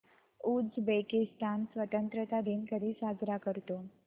Uzbekistan स्वतंत्रता दिन कधी साजरा करतो